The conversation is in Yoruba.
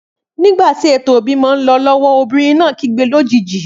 Nígbàtí ètò ìbímọ nlọ lọwọ obìrin náà kígbe lójijì